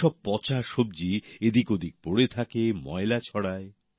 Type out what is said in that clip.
এই সব পচা সব্জি এদিক ওদিক পড়ে থাকে ময়লা ছড়ায়